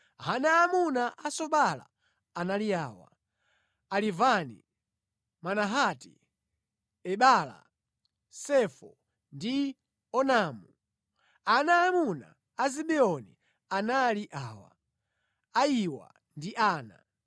Ana aamuna a Sobala anali awa: Alivani, Manahati, Ebala, Sefo ndi Onamu. Ana aamuna a Zibeoni anali awa: Ayiwa ndi Ana.